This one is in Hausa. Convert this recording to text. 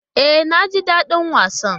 E, naji daɗin wasan.